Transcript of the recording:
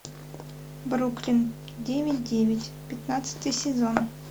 бруклин девять девять пятнадцатый сезон